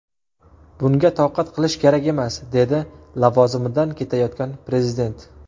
Bunga toqat qilish kerak emas”, dedi lavozimidan ketayotgan prezident.